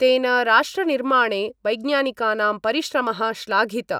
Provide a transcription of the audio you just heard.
तेन राष्ट्रनिर्माणे वैज्ञानिकानां परिश्रमः श्लाघित।